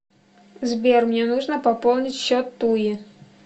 сбер мне нужно пополнить счет туи